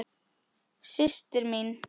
Systir mín.